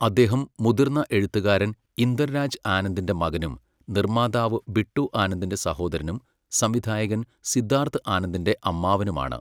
അദ്ദേഹം മുതിർന്ന എഴുത്തുകാരൻ ഇന്ദർ രാജ് ആനന്ദിന്റെ മകനും, നിർമ്മാതാവ് ബിട്ടു ആനന്ദിന്റെ സഹോദരനും, സംവിധായകൻ സിദ്ധാർത്ഥ് ആനന്ദിന്റെ അമ്മാവനുമാണ്.